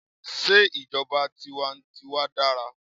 Sé ìjọba tiwa n tiwa dára?